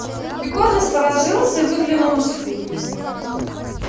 егор насторожился и выглянул из кухни